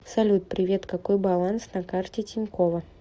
салют привет какой баланс на карте тинькова